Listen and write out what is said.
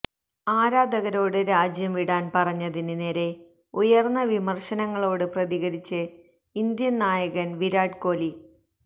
ആരാധകനോട് രാജ്യം വിടാന് പറഞ്ഞതിന് നേരെ ഉയര്ന്ന വിമര്ശനങ്ങളോട് പ്രതികരിച്ച് ഇന്ത്യന് നായകന് വിരാട് കോഹ് ലി